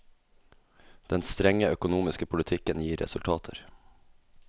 Den strenge økonomiske politikken gir resultater.